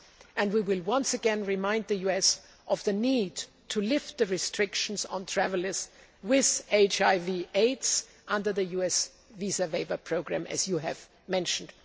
and we will once again remind the US of the need to lift the restrictions on travellers with HIV AIDS under the US visa waiver programme, as you have mentioned.